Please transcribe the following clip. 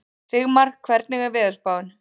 Sigmar, hvernig er veðurspáin?